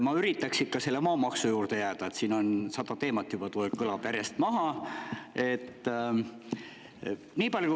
Ma üritaks ikka maamaksu juurde jääda, siin kõlas juba sada teemat järjest.